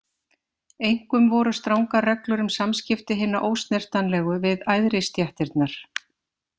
Einkum voru strangar reglur um samskipti hinna ósnertanlegu við æðri stéttirnar.